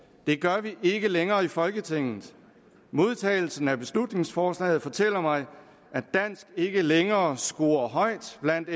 det gør vi ikke længere i folketinget modtagelsen af beslutningsforslaget fortæller mig at dansk ikke længere scorer højt blandt